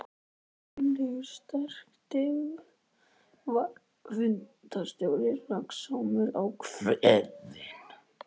Gunnlaugur sterki var fundarstjóri, röggsamur, ákveðinn.